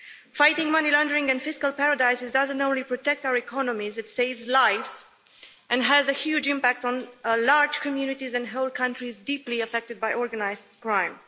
Fighting money laundering and fiscal paradises not only protects our economy, but saves lives and has a huge impact on large communities and whole countries deeply affected by organised crime.